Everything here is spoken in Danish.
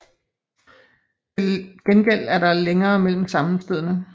Til gengæld er der længere mellem sammenstødene